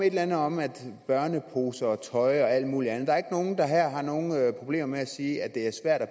et eller andet om børneposer og tøj og alt muligt andet der er nogen der her har nogle problemer med at sige at det er svært at